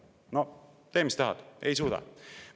No tee, mis tahad, ei suuda!